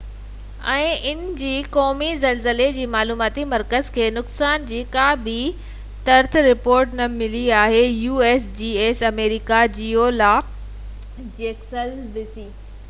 آمريڪا geological survey usgs ۽ ان جي قومي زلزلي جي معلوماتي مرڪز کي نقصان جي ڪا بہ ترت رپورٽ نہ ملي آهي